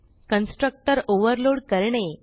constructor overload करणे